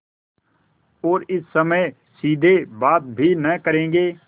और इस समय सीधे बात भी न करेंगे